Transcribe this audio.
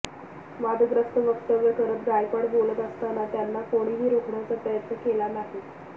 वादग्रस्त वक्तव्य करत गायकवाड बोलत असताना त्यांना कोणीही रोखण्याचा प्रयत्न केला नाही